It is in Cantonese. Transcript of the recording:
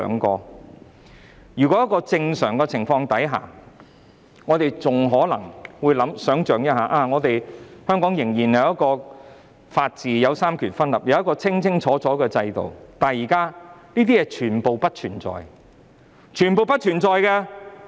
在正常情況下，我們還會相信香港仍有法治、三權分立和清楚的制度，但凡此種種，現在皆不存在，是全部不存在的。